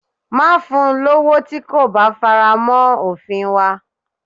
Má fun lowo tí kò bá faramọ́ òfin wa.